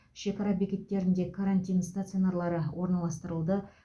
шекара бекеттерінде карантин стационарлары орналастырылды